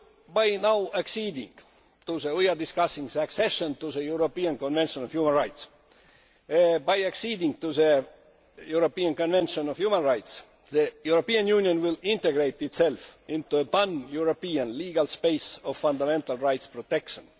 By acceding to the European Convention on Human Rights, the European Union will integrate itself into a pan European legal space of fundamental rights protection.